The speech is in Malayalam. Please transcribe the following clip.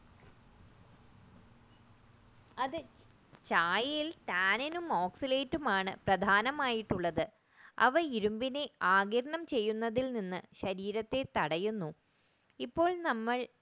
അതെ ചായയിൽ tannin oxalate ആണ് പ്രധാനമായിട്ടുള്ളത് അവ ഇരുമ്പിനെ ആഗിരണം ചെയ്യുന്നതിൽ നിന്ന് ശരീരത്തെ താടിയുന്നു ഇപ്പോൾ നമ്മൾ